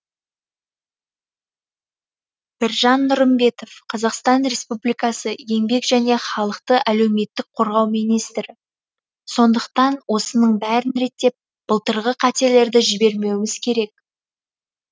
біржан нұрымбетов қазақстан р еспубликасы еңбек және халықты әлеуметтік қорғау министрі сондықтан осының бәрін реттеп былтырғы қателерді жібермеуіміз керек